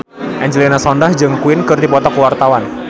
Angelina Sondakh jeung Queen keur dipoto ku wartawan